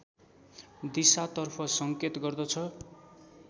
दिशातर्फ संकेत गर्दछ